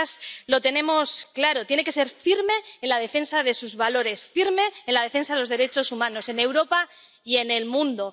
Nosotras lo tenemos claro tiene que ser firme en la defensa de sus valores, firme en la defensa de los derechos humanos, en Europa y en el mundo.